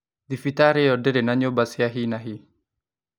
Thibitarĩ ĩyo ndĩrĩ na nyũmba cia hi na hi